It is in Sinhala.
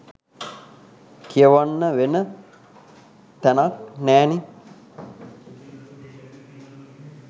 කියවන්න වෙන තැනක් නැනෙ.